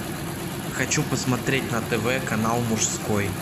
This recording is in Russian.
хочу посмотреть на тв канал мужской